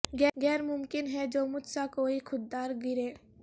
غیر ممکن ہے جو مجھ سا کوئ خوددار گرے